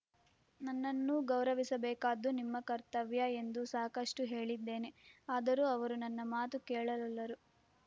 ನನ್ನನ್ನೂ ಗೌರವಿಸಬೇಕಾದ್ದು ನಿಮ್ಮ ಕರ್ತವ್ಯ ಎಂದು ಸಾಕಷ್ಟುಹೇಳಿದ್ದೇನೆ ಆದರೂ ಅವರು ನನ್ನ ಮಾತು ಕೇಳಲೊಲ್ಲರು